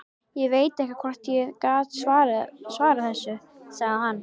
Ég veit ekki hvort ég get svarað þessu, sagði hann.